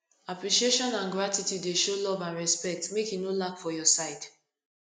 appreciation and gratitude dey show love and respect make e no lack for your side